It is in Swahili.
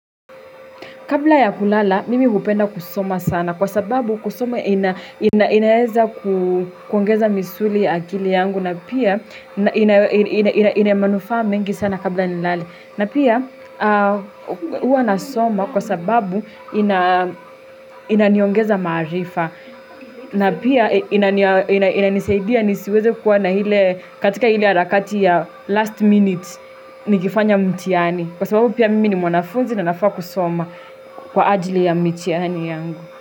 Kabla ya kulala, mimi hupenda kusoma sana kwa sababu kusoma inaweza kuongeza misuli akili yangu na pia ina manufaa mengi sana kabla nilale na pia huwa nasoma kwa sababu inaniongeza maarifa na pia inanisaidia nisiweze kuwa na ile katika ile harakati ya last minute nikifanya mtiani. Kwa sababu pia mimi ni mwanafunzi na nafaa kusoma kwa ajili ya mitihani yangu.